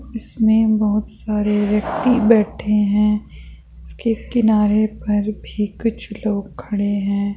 इसमें बहुत सारे व्यक्ति बैठे हैं इसके किनारे पर भी कुछ लोग खड़े हैं।